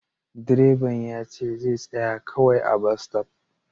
Direban yace zai tsaya kawai a'bas stop.